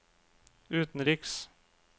utenriks